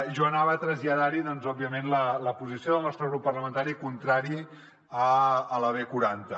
jo anava a traslladar hi doncs òbviament la posició del nostre grup parlamentari contrari a la b quaranta